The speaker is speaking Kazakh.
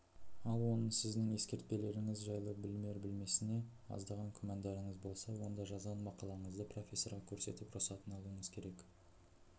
ал оның сіздің ескертпелеріңіз жайлы білер-білмесіне аздаған күмәндарыңыз болса онда жазған мақалаңызды профессорға көрсетіп рұқсатын алуыңыз керек